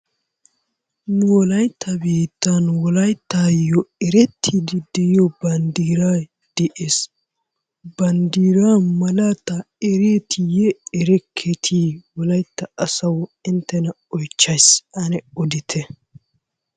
Nu wolaytta biittan wolayttaayyoo erettiidi diyo banddiray des. Banddiraa malaataa ereetiiyye erekketii? Wolayitta asawu inttena oyichchayis ane odite.